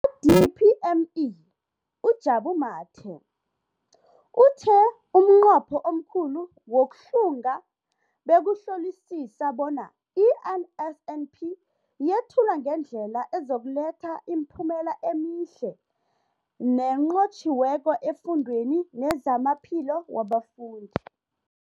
Kwa-DPME, uJabu Mathe, uthe umnqopho omkhulu wokuhlunga bekukuhlolisisa bona i-NSNP yethulwa ngendlela ezokuletha imiphumela emihle nenqotjhiweko efundweni nezamaphilo wabafundi.